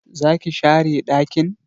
Zaki share dakin?